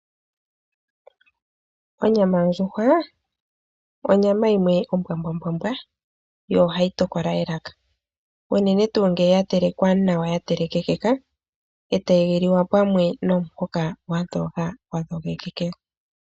Onyama yondjuhwa onyama yimwe ombwambwambwa yo ohayi tokola elaka unene tuu ngele oya telekwa nawa ya telekeka, e tayi liwa pamwe nomuhoka gwa dhoga gwa dhogekeka.